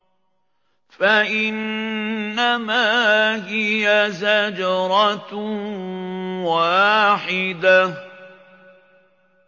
فَإِنَّمَا هِيَ زَجْرَةٌ وَاحِدَةٌ